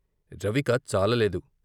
రవిక చాలలేదు.